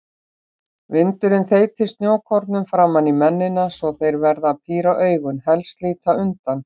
Vindurinn þeytir snjókornum framan í mennina svo þeir verða að píra augun, helst líta undan.